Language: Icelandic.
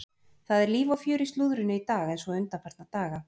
Það er líf og fjör í slúðrinu í dag eins og undanfarna daga.